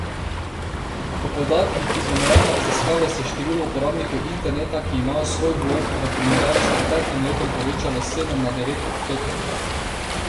Po podatkih iz omenjene raziskave se je število uporabnikov interneta, ki imajo svoj blog, v primerjavi s preteklim letom povečalo s sedem na devet odstotkov.